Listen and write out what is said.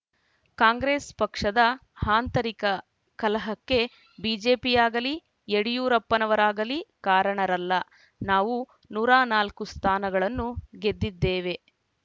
ಕಾಂಗ್ರೆಸ್‌ ಪಕ್ಷದ ಆಂತರಿಕ ಕಲಹಕ್ಕೆ ಬಿಜೆಪಿಯಾಗಲಿ ಯಡಿಯೂರಪ್ಪರವರಾಗಲಿ ಕಾರಣರಲ್ಲ ನಾವು ನೂರ ನಾಲ್ಕು ಸ್ಥಾನಗಳನ್ನು ಗೆದ್ದಿದ್ದೇವೆ